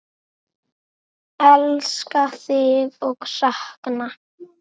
Elska þig og sakna.